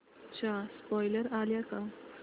चा स्पोईलर आलाय का